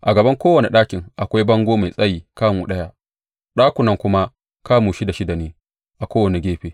A gaban kowane ɗakin akwai bango mai tsayi kamu ɗaya, ɗakunan kuma kamu shida shida ne a kowane gefe.